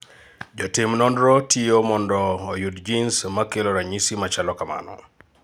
Jo tim nonro tiyo mondo oyud genes makelo ranyisi machalo kamano